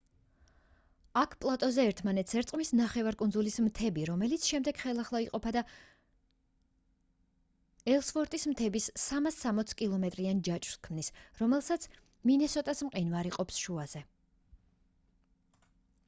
აქ პლატოზე ერთმანეთს ერწყმის ნახევარკუნძულის მთები რომელიც შემდეგ ხელახლა იყოფა და ელსვორტის მთების 360 კმ-იან ჯაჭვს ქმნის რომელსაც მინესოტას მყინვარი ყოფს შუაზე